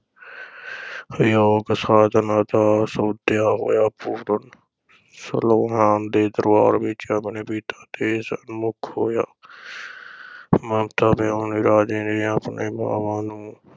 ਯੋਗ ਸਾਧਨਾ ਦਾ ਸੋਧਿਆ ਹੋਇਆ ਪੂਰਨ ਸਲਵਾਨ ਦੇ ਦਰਬਾਰ ਵਿਚ ਆਪਣੇ ਪਿਤਾ ਦੇ ਸਨਮੁੱਖ ਹੋਇਆ। ਮਮਤਾ ਵਿਹੂਣੇ ਰਾਜੇ ਨੇ ਆਪਣੀ ਮਾਵਾਂ ਨੂੰ